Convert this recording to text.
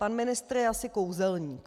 Pan ministr je asi kouzelník.